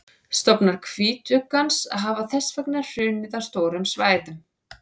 stofnar hvítuggans hafa þess vegna hrunið á stórum svæðum